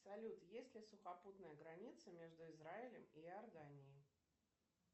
салют есть ли сухопутная граница между израилем и иорданией